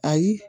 Ayi